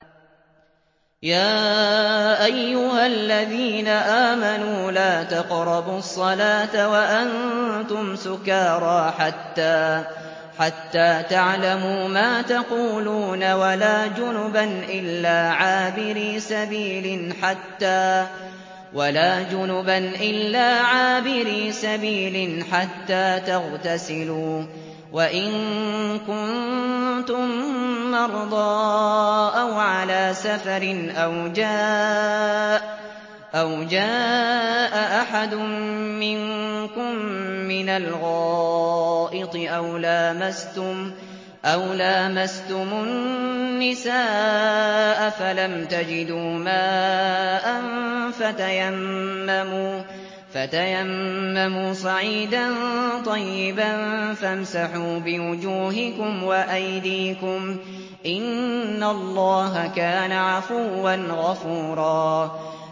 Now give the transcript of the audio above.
يَا أَيُّهَا الَّذِينَ آمَنُوا لَا تَقْرَبُوا الصَّلَاةَ وَأَنتُمْ سُكَارَىٰ حَتَّىٰ تَعْلَمُوا مَا تَقُولُونَ وَلَا جُنُبًا إِلَّا عَابِرِي سَبِيلٍ حَتَّىٰ تَغْتَسِلُوا ۚ وَإِن كُنتُم مَّرْضَىٰ أَوْ عَلَىٰ سَفَرٍ أَوْ جَاءَ أَحَدٌ مِّنكُم مِّنَ الْغَائِطِ أَوْ لَامَسْتُمُ النِّسَاءَ فَلَمْ تَجِدُوا مَاءً فَتَيَمَّمُوا صَعِيدًا طَيِّبًا فَامْسَحُوا بِوُجُوهِكُمْ وَأَيْدِيكُمْ ۗ إِنَّ اللَّهَ كَانَ عَفُوًّا غَفُورًا